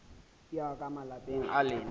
ya ka malapeng a lena